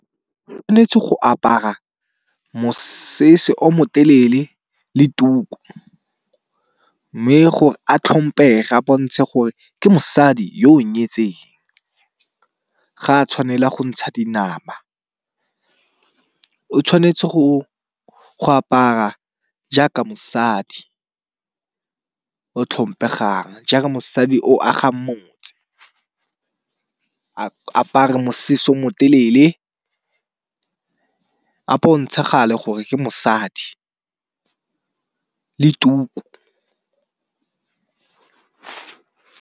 Go apara mosese o motelele le tuku, mme gore a tlhomphege a bontshe gore ke mosadi yo o nyetseng. Ga a tshwanela go ntsha dinama. O tshwanetse go apara jaaka mosadi o tlhompegang jaaka mosadi o agang motse. A apare mosese mo telele a bontshagale gore ke mosadi le tuku.